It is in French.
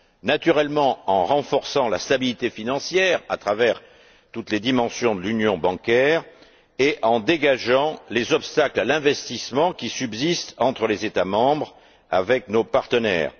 Naturellement, en renforçant la stabilité financière à travers toutes les dimensions de l'union bancaire et en dégageant les obstacles à l'investissement qui subsistent entre les États membres, avec nos partenaires.